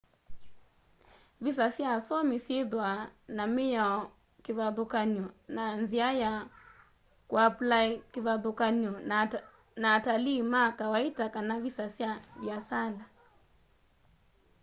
visa sya asomi syithwaa na miao kivathukany'o na nzia ya kuaplai kivathukany'o na atalii ma kawaita kana visa sya viasala